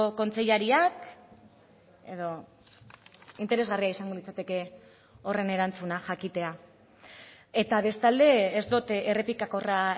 kontseilariak edo interesgarria izango litzateke horren erantzuna jakitea eta bestalde ez dut errepikakorra